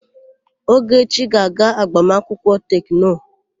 Ogechi ga-aga agbamakwụkwọ Tekno.